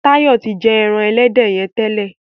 Tayo tí jé èràn elédè yén tẹlẹ.